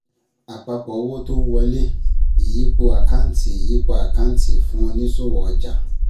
Àpapọ̀ Owó tó ń wọlé, ìyípo Àkáǹtì ìyípo Àkáǹtì fún onísòwò ọjà